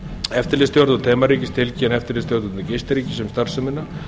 eftirlitsstjórnvöld heimaríkis tilkynna eftirlitsstjórnvöldum gistiríkis um starfsemina